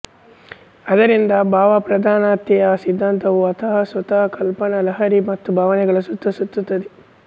ಆದ್ದರಿಂದ ಭಾವಪ್ರಧಾನತೆಯ ಸಿದ್ದಾಂತವು ಅಂತಃಸತ್ವಕಲ್ಪನಾ ಲಹರಿ ಮತ್ತು ಭಾವನೆಗಳ ಸುತ್ತ ಸುತ್ತುತ್ತದೆ